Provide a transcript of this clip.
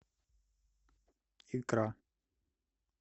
икра